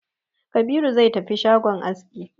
Kabiru zai tafi shagon aski